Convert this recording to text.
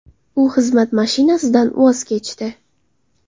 U xizmat mashinasidan voz kechdi.